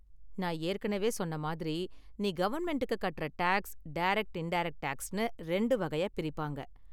நான் ஏற்கனவே சொன்ன மாதிரி, நீ கவர்மெண்ட்டுக்கு கட்டுற டேக்ஸ் , டைரக்ட் இன்டேரக்ட் டேக்ஸ்னு ரெண்டு வகையா பிரிப்பாங்க.